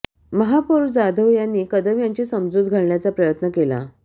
महापौर जाधव यांनी कदम यांची समजूत घालण्याचा प्रयत्न केला